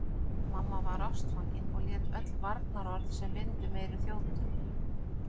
Mamma var ástfangin og lét öll varnaðarorð sem vind um eyru þjóta.